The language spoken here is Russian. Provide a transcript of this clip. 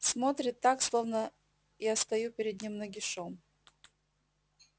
смотрит так словно я стою перед ним нагишом